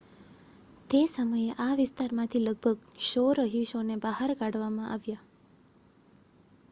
તે સમયે આ વિસ્તારમાંથી લગભગ 100 રહીશોને બહાર કાઢવામાં આવ્યા હતા